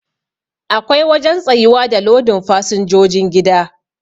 Akwai wajen tsayuwa da lodin fasinjojin gida